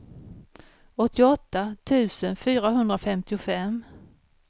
åttioåtta tusen fyrahundrafemtiofem